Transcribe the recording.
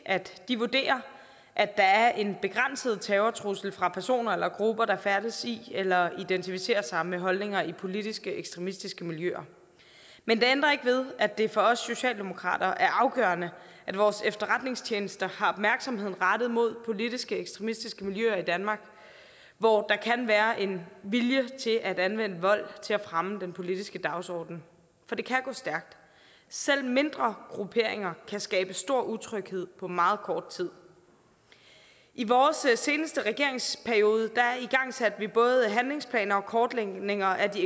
at de vurderer at der er en begrænset terrortrussel fra personer eller grupper der færdes i eller identificerer sig med holdninger i politiske ekstremistiske miljøer men det ændrer ikke ved at det for os socialdemokrater er afgørende at vores efterretningstjenester har opmærksomheden rettet mod politiske ekstremistiske miljøer i danmark hvor der kan være en vilje til at anvende vold til at fremme den politiske dagsorden for det kan gå stærkt selv mindre grupperinger kan skabe stor utryghed på meget kort tid i vores seneste regeringsperiode igangsatte vi både handlingsplaner og kortlægninger af de